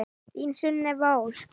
Þín Sunneva Ósk.